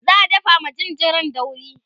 za'a dafa ma jinjirin dauri